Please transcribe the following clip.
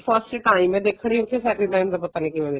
first time ਹੈ ਦੇਖਣੀ ਸਾਡੇ time ਦਾ ਪਤਾ ਨੀ ਕਿਵੇਂ ਨਿਕਲਣਾ